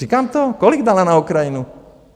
Říkám to - kolik dala na Ukrajinu?